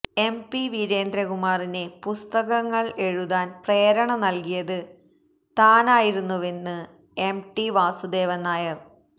M P വീരേന്ദ്രകുമാറിന് പുസ്തകങ്ങള് എഴുതാന് പ്രേരണ നല്കിയത് താനായിരുന്നുവെന്ന് എം ടി വാസുദേവന് നായര്